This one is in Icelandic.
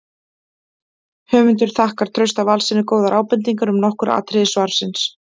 Höfundur þakkar Trausta Valssyni góðar ábendingar um nokkur atriði svarsins.